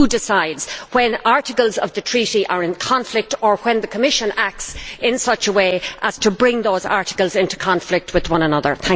Who decides when articles of the Treaty are in conflict or when the Commission acts in such a way as to bring those articles into conflict with one another?